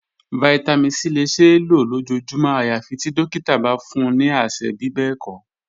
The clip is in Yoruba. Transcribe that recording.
Vitamin c le ṣee lo lojoojumọ ayafi ti dokita ba fun ni aṣẹ bibẹẹkọ.